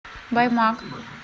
баймак